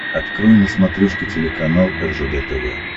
открой на смотрешке телеканал ржд тв